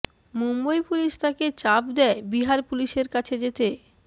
Mumbai police তাকে চাপ দেয় বিহার পুলিশের কাছে যেতে